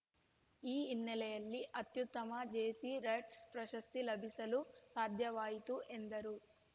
ಈ ಹಿನ್ನೆಲೆಯಲ್ಲಿ ಅತ್ಯುತ್ತಮ ಜೇಸಿ ರೆಟ್ಸ್‌ ಪ್ರಶಸ್ತಿ ಲಭಿಸಲು ಸಾಧ್ಯವಾಯಿತು ಎಂದರು